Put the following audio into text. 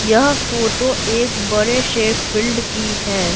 यह फोटो एक बड़े से फिल्ड की है।